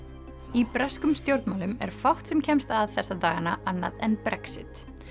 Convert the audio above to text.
í breskum stjórnmálum er fátt sem kemst að þessa dagana annað en Brexit